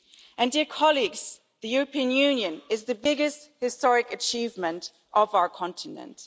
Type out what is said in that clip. And, dear colleagues, the European Union is the biggest historic achievement of our continent.